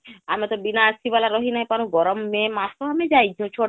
ଆମେତ ବିନା AC ଵାଲା ରହି ନାଇଁ ପାରୁ ଗରମ ମେ ମାସ ଆମେ ଯାଇଛୁ ଛୋ...